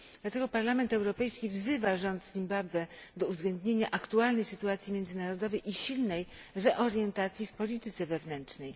Dlatego Parlament Europejski wzywa rząd w Zimbabwe do uwzględnienia aktualnej sytuacji międzynarodowej i silnej reorientacji w polityce wewnętrznej.